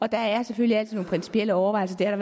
der er selvfølgelig altid nogle principielle overvejelser det har